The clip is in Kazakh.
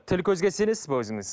тіл көзге сенесіз бе өзіңіз